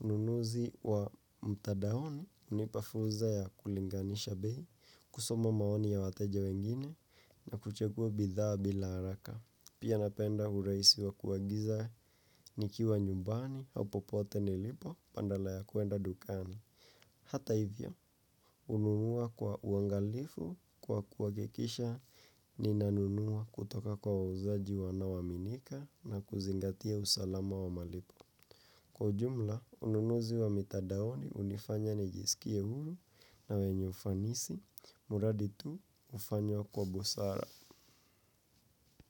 Ununuzi wa mtandaoni hunipa fursa ya kulinganisha bei, kusoma maoni ya wateja wengine na kuchagua bidhaa bila haraka. Pia napenda urahisi wa kuagiza nikiwa nyumbani au popote nilipo badala ya kuenda dukani. Hata hivyo hununua kwa uangalifu kwa kuhakikisha ninanunua kutoka kwa wauzaji wanaoaminika na kuzingatia usalama wa malipo. Kwa ujumla, ununuzi wa mitandaoni hunifanya nijisikie huru na wenye ufanisi muradi tu ufanywe kwa busara.